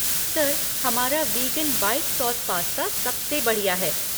Sir, हमारा vegan white sauce pasta सबसे बढ़िया है।